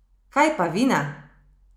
Kaj pa vina?